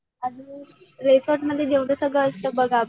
अजून रिसॉर्टमध्ये जेवढं सगळं असतं